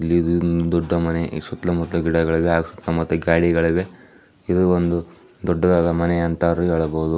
ಇದು ಒಂದು ದೊಡ್ಡ ಮನೆ ಇದರ ಸುತ್ತಲೂ ಗಿಡಗಳಿಗೆ ಗಾಡಿಗಳಿವೆ. ಇದು ಒಂದು ದೊಡ್ಡದಾದ ಮನೆ ಎಂದು ಹೇಳಬಹುದು .